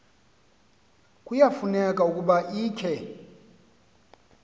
kuyafuneka ukuba ikhe